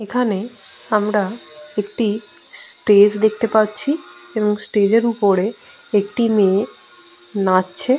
এখানে আমার একটি স্টেজ দেখতে পাচ্ছি এবং স্টেজ এর ওপরে একটি মেয়ে নাচছে ।